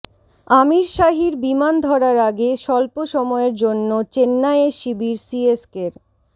আমিরশাহীর বিমান ধরার আগে স্বল্প সময়ের জন্য চেন্নাইয়ে শিবির সিএসকের